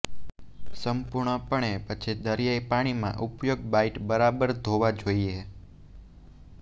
સંપૂર્ણપણે પછી દરિયાઈ પાણીમાં ઉપયોગ બાઈટ બરાબર ધોવા જોઈએ